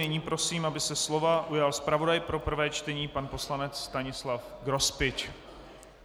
Nyní prosím, aby se slova ujal zpravodaj pro prvé čtení pan poslanec Stanislav Grospič.